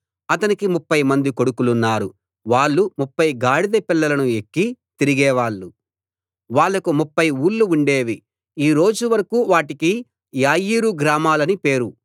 అతనికి ముప్ఫైమంది కొడుకులున్నారు వాళ్ళు ముప్ఫై గాడిద పిల్లలను ఎక్కి తిరిగేవాళ్ళు వాళ్ళకు ముప్ఫై ఊళ్లు ఉండేవి ఈ రోజు వరకూ వాటికి యాయీరు గ్రామాలని పేరు